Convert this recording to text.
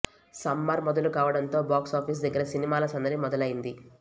summer మొదలు కావడం తో బాక్స్ ఆఫీస్ దగ్గర సినిమాల సందడి మొదలయ్యింది